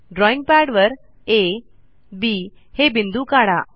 drawing पॅडवर आ B हे बिंदू काढा